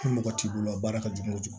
Ni mɔgɔ t'i bolo baara ka jugu